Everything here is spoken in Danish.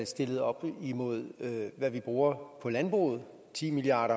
stillet op imod hvad vi bruger på landbruget ti milliard